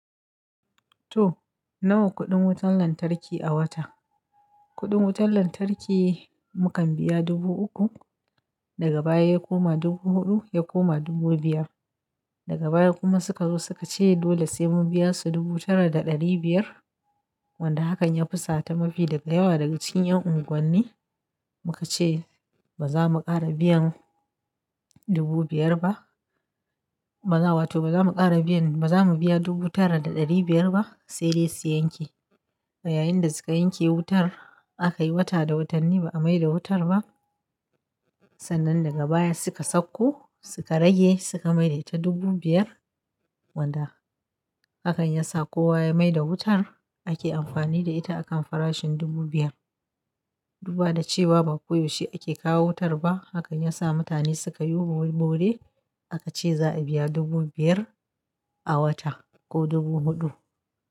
To nawa kuɗin wutan lantarki a wata? Kuɗin wutar lantarki mukan biya dubu uku, daga baya ya koma dubu huɗu, ya koma dubu biyar. Daga baya kuma suka zo suka ce dole sai mu biya su dubu tara da ɗari biyar. Wanda hakan ya fusata mafi daga yawa daga cikin ƴan unguwanni muka ce ba za mu ƙara biyan dubu biyar ba. Ba za wato ba za mu ƙara biyan, ba za mu biya dubu tara da ɗari biyar ba. Sai dai su yanke. A yayin da suka yanke wutar aka yi wata da watane ba a maida wutar ba. Sannan daga baya suka sauko suka rage suka maida ita dubu biyar. Wanda hakan ya sa kowa ya maida wutar ake amfani da ita a kan farashin dubu biyar. Duba da cewa ba koyaushe ake kawo wutar ba, hakan ya sa mutane suka yiwu bore aka ce za a biya dubu biyar a wata ko dubu huɗu.